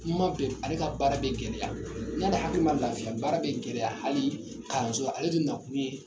Kuma bɛ ale ka baara bɛ gɛlɛya n'ale hakili man lafiya baara bɛ gɛlɛya hali kalanso la ale dun nakun ye